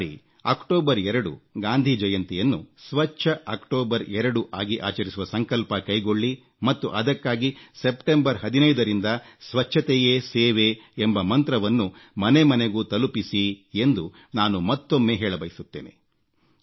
ಈ ಬಾರಿ ಅಕ್ಟೋಬರ್ 2 ಗಾಂಧಿ ಜಯಂತಿಯನ್ನು ಸ್ವಚ್ಛ ಅಕ್ಟೋಬರ್ 2 ಆಗಿ ಆಚರಿಸುವ ಸಂಕಲ್ಪ ಕೈಗೊಳ್ಳಿ ಮತ್ತು ಅದಕ್ಕಾಗಿ ಸೆಪ್ಟೆಂಬರ್ 15ರಿಂದ ಸ್ವಚ್ಛತೆಯೇ ಸೇವೆ ಎಂಬ ಮಂತ್ರವನ್ನು ಮನೆಮನೆಗೂ ತಲುಪಿಸಿ ಎಂದು ನಾನು ಮತ್ತೊಮ್ಮೆ ಹೇಳಬಯಸುತ್ತೇನೆ